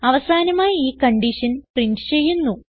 അവസാനമായി ഈ condition print ചെയ്യുന്നു